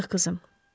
Yazıq qızım.